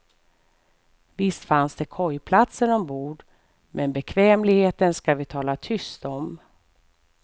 Visst fanns det kojplatser ombord men bekvämligheten ska vi tala tyst om.